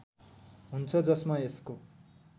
हुन्छ जसमा यसको